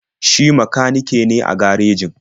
Shi makanike ne a garejin.